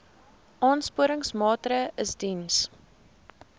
aansporingsmaatre ls diens